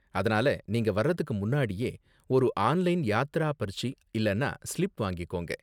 அதனால நீங்க வர்றதுக்கு முன்னாடியே ஒரு ஆன்லைன் யாத்ரா பர்ச்சி இல்லனா ஸ்லிப் வாங்கிக்கோங்க.